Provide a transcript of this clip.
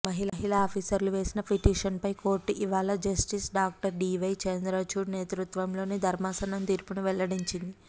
మహిళా ఆఫీసర్లు వేసిన పిటిషన్ పై కోర్టు ఇవాళ జస్టిస్ డాక్టర్ డీవై చంద్రచూడ్ నేతృత్వంలోని ధర్మాసనం తీర్పును వెల్లడించింది